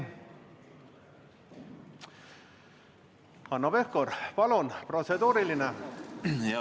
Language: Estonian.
Hanno Pevkur, palun, protseduuriline küsimus!